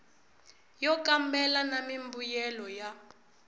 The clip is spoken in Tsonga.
yo kambela na mimbuyelo ya